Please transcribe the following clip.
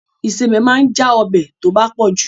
Ìsebẹ̀ ma ń já ọbẹ̀ tó bá pọ̀ jù.